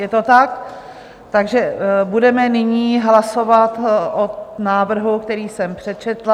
Je to tak, takže budeme nyní hlasovat o návrhu, který jsem přečetla.